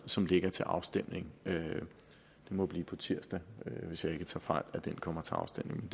som ligger til afstemning det må blive på tirsdag hvis jeg ikke tager fejl at det kommer til afstemning